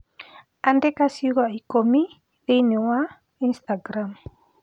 Andĩka ciugo ikũmi thĩinĩ wa Instagram